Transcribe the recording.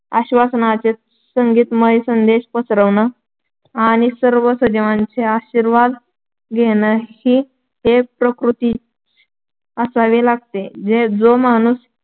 आश्‍वासनाचे संगीतमय संदेश पसरवणं आणि सर्व सजीवांचे आशीर्वाद घेणं ही एक प्रवृत्तीच असावी लागते. जो माणूस